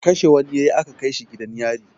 Kashe wani ya yi aka kai shi gidan yari.